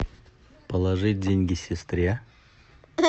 положить деньги сестре